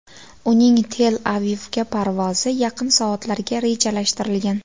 Uning Tel-Avivga parvozi yaqin soatlarga rejalashtirilgan.